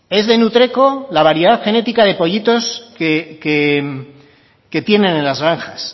es de nutreco la variedad genética de pollitos que tienen en las granjas